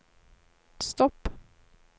stopp